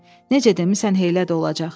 Necə demisan elə də olacaq.